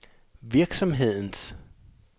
virksomhedens